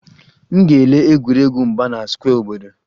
M ga-ele egwuregwu mgba na square obodo